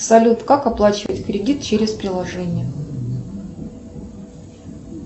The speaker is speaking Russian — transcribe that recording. салют как оплачивать кредит через приложение